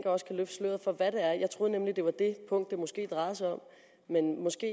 også kan løfte sløret for hvad grunden er jeg troede nemlig det var det punkt det måske drejede sig om men måske